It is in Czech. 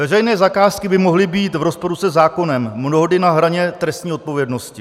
Veřejné zakázky by mohly být v rozporu se zákonem, mnohdy na hraně trestní odpovědnosti.